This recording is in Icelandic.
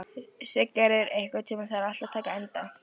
Siggerður, einhvern tímann þarf allt að taka enda.